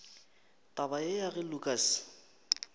taba ye ya ge lukas